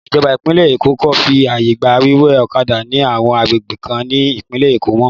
Ìjọba ìpínlẹ̀ Èkó kò fi àyè gba wíwa ọ̀kadà ní àwọn agbègbè kan ní ìpínlẹ̀ Èkó mọ́.